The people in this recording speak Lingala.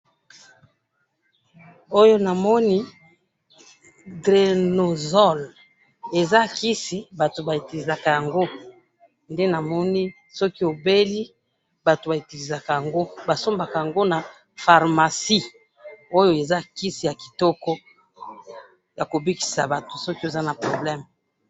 oyo namoni DRENOXOL eza Kisi batu ba utilizaka yango, nde namoni soki obeli batu ba utilizaka yango basombaka yango na pharmacie ,oyo eza kisi ya kitoko ya kobikisa batu soki oza na probleme .